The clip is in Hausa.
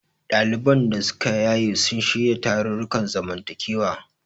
Ɗaliban da suka yaye sun shirya tarurrukan zamantakewa.